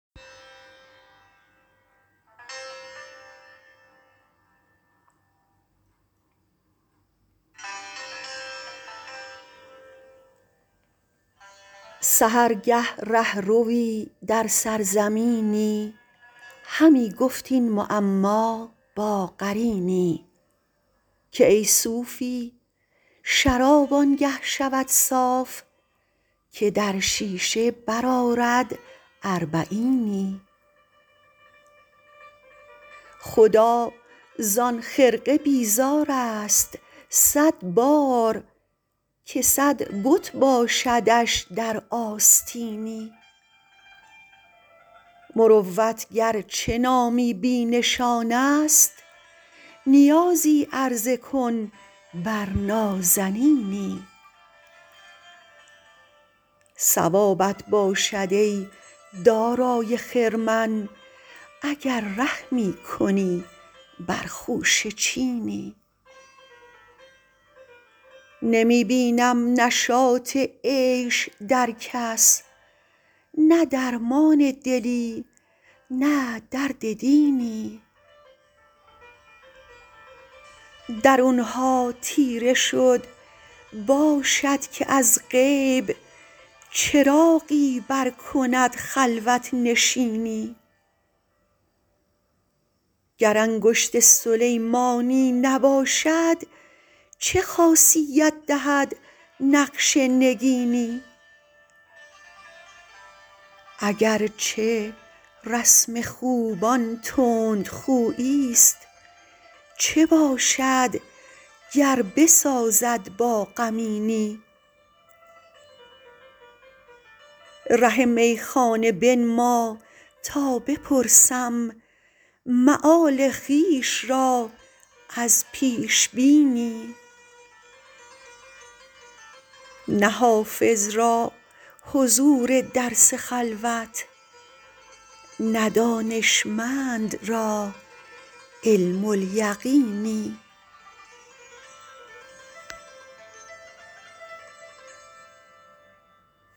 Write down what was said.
سحرگه ره ‎روی در سرزمینی همی گفت این معما با قرینی که ای صوفی شراب آن گه شود صاف که در شیشه برآرد اربعینی خدا زان خرقه بیزار است صد بار که صد بت باشدش در آستینی مروت گر چه نامی بی نشان است نیازی عرضه کن بر نازنینی ثوابت باشد ای دارای خرمن اگر رحمی کنی بر خوشه چینی نمی بینم نشاط عیش در کس نه درمان دلی نه درد دینی درون ها تیره شد باشد که از غیب چراغی برکند خلوت نشینی گر انگشت سلیمانی نباشد چه خاصیت دهد نقش نگینی اگر چه رسم خوبان تندخویی ست چه باشد گر بسازد با غمینی ره میخانه بنما تا بپرسم مآل خویش را از پیش بینی نه حافظ را حضور درس خلوت نه دانشمند را علم الیقینی